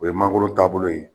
O ye mangoro taabolo ye.